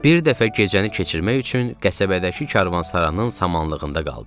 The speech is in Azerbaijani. Bir dəfə gecəni keçirmək üçün qəsəbədəki karvansaranın samanlığında qaldıq.